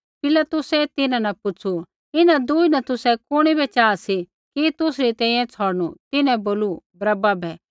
पिलातुसै तिन्हां न पुछ़ू इन्हां दूई न तुसै कुणी बै चाहा सी कि तुसरी तैंईंयैं छ़ौड़नू तिन्हैं बोलू बरअब्बा बै